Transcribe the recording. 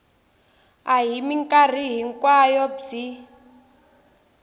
a hi mikarhi hinkwayo byi